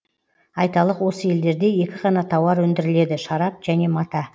айталық осы елдерде екі ғана тауар өндіріледі шарап және мата